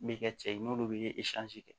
Bɛ kɛ cɛ ye n'olu bɛ kɛ